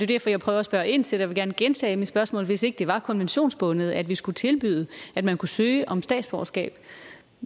derfor jeg prøver at spørge ind til jeg vil gerne gentage mit spørgsmål hvis ikke det var konventionsbundet at vi skulle tilbyde at man kunne søge om statsborgerskab